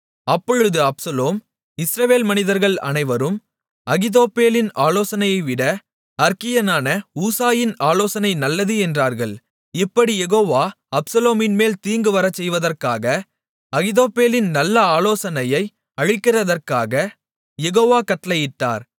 அப்பொழுது அப்சலோமும் இஸ்ரவேல் மனிதர்கள் அனைவரும் அகித்தோப்பேலின் ஆலோசனையைவிட அற்கியனான ஊசாயின் ஆலோசனை நல்லது என்றார்கள் இப்படி யெகோவா அப்சலோமின்மேல் தீங்கு வரச்செய்வதற்காக அகித்தோப்பேலின் நல்ல ஆலோசனையை அழிக்கிறதற்குக் யெகோவா கட்டளையிட்டார்